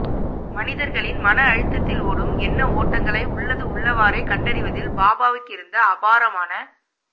மனிதர்களின் மன ஆழத்தில் ஓடும் எண்ண ஓட்டங்களை உள்ளது உள்ளவாறே கண்டறிவதில் பாபாவுக்கிருந்த அபாரமான